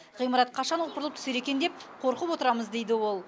ғимарат қашан опырылып түсер екен деп қорқып отырамыз дейді ол